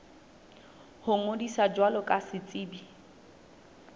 ho ngodisa jwalo ka setsebi